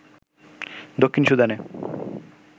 দক্ষিণ সুদানে